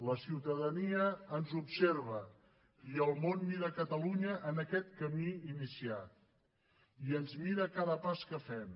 la ciutadania ens observa i el món mira catalunya en aquest camí iniciat i ens mira a cada pas que fem